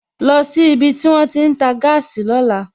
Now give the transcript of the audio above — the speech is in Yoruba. Lọ sí ibi tí wón ti ń tà gáàsì lóla!